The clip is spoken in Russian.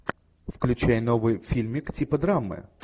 включай новый фильмик типа драмы